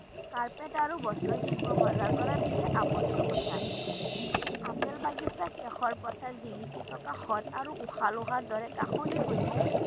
Carpet আৰু বস্ত্ৰশিল্প বজাৰ কৰাৰ বিশেষ আৱশ্যকতা আপেল বাগিচা, কেশৰ পথাৰ জিলিকি থকা হ্ৰদ আৰু ৰ দৰে হৈছে